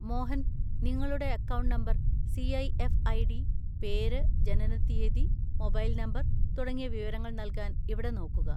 മോഹൻ, നിങ്ങളുടെ account number, CIF. ID., പേര്, ജനനത്തീയതി, മൊബൈൽ നമ്പർ തുടങ്ങിയ വിവരങ്ങൾ നൽകാൻ ഇവിടെ നോക്കുക.